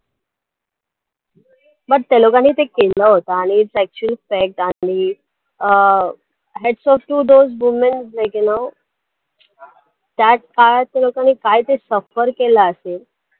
मग त्या लोकांनी ते केलं होतं आणि its actually um hats off those women काय त्या लोकांनी suffer केलं असेल